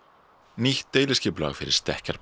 nýtt deiliskipulag fyrir